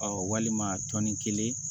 walima tɔni kelen